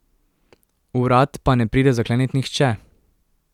Vrat pa ne pride zaklenit nihče.